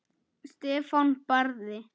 Stefán Barði.